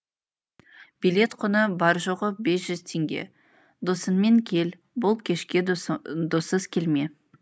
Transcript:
билет құны бар жоғы бес жүз теңге досыңмен кел бұл кешке доссыз келме